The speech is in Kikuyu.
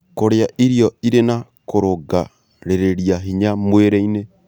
Kũrĩa irio ĩrĩ na kũrũngagĩrĩrĩa hinya mwrĩĩnĩ